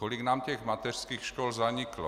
Kolik nám těch mateřských škol zaniklo!